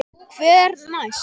Hver næst?